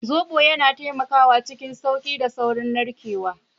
Zobo yana taimakawa cikin sauƙi da saurin narkewa.